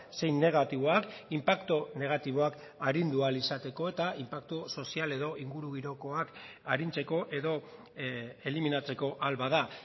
zein negatiboak inpaktu negatiboak arindu ahal izateko eta inpaktu sozial edo ingurugirokoak arintzeko edo eliminatzeko ahal bada